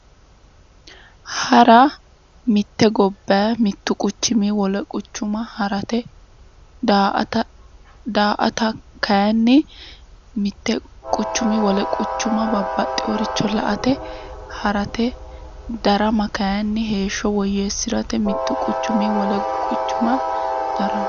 Hara mitte gobbayi mittu quchumi wole quchuma harate daa"ata kayiinni mittu quchumi wole quchuma babbaxeyoricho la"ate harate darama kayiinni heeshsho woyyeessirate mittu quchumi wole quchuma daramate